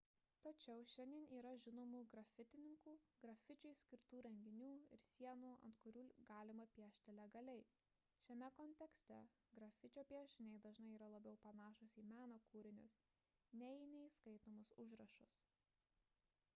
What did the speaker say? tačiau šiandien yra žinomų grafitininkų grafičiui skirtų renginių ir sienų ant kurių galima piešti legaliai šiame kontekste grafičio piešiniai dažnai yra labiau panašūs į meno kūrinius nei į neįskaitomus užrašus